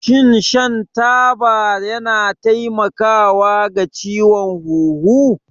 Shin shan taba yana taimakawa ga ciwon huhu?